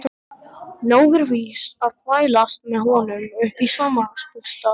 Nóg er víst að þvælast með honum upp í sumarbústað.